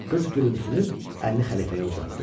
Qız gülümsünüb əlini xəlifəyə uzatdı.